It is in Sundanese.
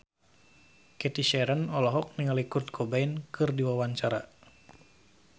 Cathy Sharon olohok ningali Kurt Cobain keur diwawancara